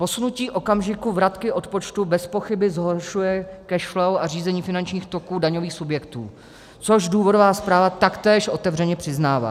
Posunutí okamžiku vratky odpočtu bezpochyby zhoršuje cash flow a řízení finančních toků daňových subjektů, což důvodová zpráva taktéž otevřeně přiznává.